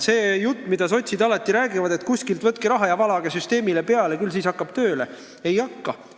See jutt, mida sotsid alati räägivad, et võtke kuskilt raha ja valage süsteemile peale, küll siis hakkab tööle – ei hakka!